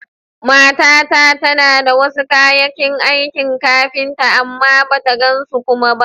Matata tana da wasu ƙayakin aikin kafinta, amma bata gan su kuma ba.